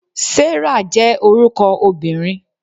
Sarah je orúko obìnrin